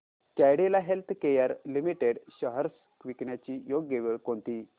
Cadila healthcare limited shares विकण्याची योग्य वेळ कोणती